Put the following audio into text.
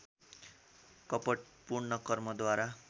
कपटपूर्ण कर्मद्वारा